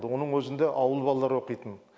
оның өзінде ауыл балалары оқитын